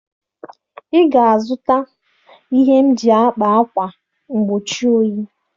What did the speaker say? Ị ga-azụta ihe m ji akpa akwa mgbochi oyi!